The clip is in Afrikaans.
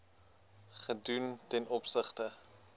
gedoen ten opsigte